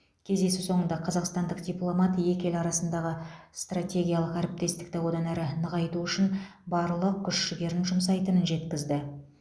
кездесу соңында қазақстандық дипломат екі ел арасындағы стратегиялық әріптестікті одан әрі нығайту үшін барлық күш жігерін жұмсайтынын жеткізді